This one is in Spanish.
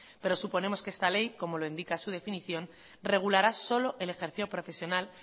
pero suponemos que esta ley como lo indica su definición regulará solo el ejercicio profesional